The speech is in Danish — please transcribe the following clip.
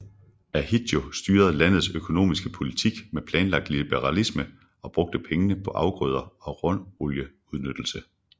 Ahidjo styrede landets økonomiske politik med planlagt liberalisme og brugte pengene på afgrøder og råolieudnyttelse